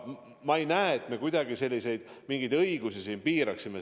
Ma ei näe, et me kuidagi mingeid õigusi sellega piirame.